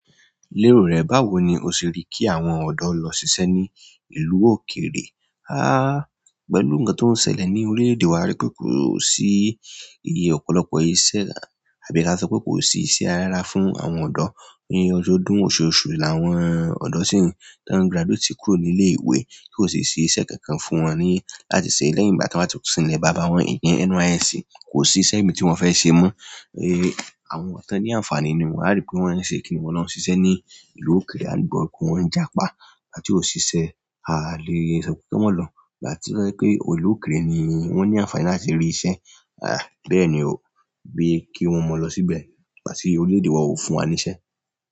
Lérò rẹ, báwo ni o ṣe rí kí àwọn ọ̀dọ́ lọ ṣiṣẹ́ ní ìlú òkèèrè? Pẹ̀lú nǹkan tó ń ṣẹlẹ̀ ní orílẹ̀-èdè wa, a rí pé kò sí ọ̀pọ̀lọpọ̀ iṣẹ́ àbí ka sọ pé kò sí iṣẹ́ rárá fún àwọn ọ̀dọ́. Ní ọdọ́ ọdún, oṣooṣù làwọn ọ̀dọ́ ṣì ń, tí wọ́n graduátè kúrò nílé ìwé, kò sì ṣí iṣẹ́ kankan fún wọn ní láti ṣe lẹ́yìn ìgbà tí wọ́n bá ti sin ìlẹ̀ bàbá wọn ìyẹn NYSC, kò sí iṣẹ́ míran tí wọ́n fẹ́ ṣe mọ́. Àwọn tí wọ́n ní àǹfààní ni wọ́n, a rí pé wọ́n ṣe kíni wọ́n lọ ṣiṣẹ́ ní ìlú òkèèrè, a gbọ́ pé wọ́n ń jàpá láti òṣìṣẹ́. A lèe sọ pé kí wọ́n mo lọ, ìgbà to je wipé ìlú òkèèrè ni wọ́n ní àǹfààní láti rí iṣẹ́. Bẹ́ẹ̀ ni o, bí kí wọ́n mọ lọ síbẹ̀ ìgbà ti orílẹ̀-èdè wa ó fún wa ní iṣẹ́.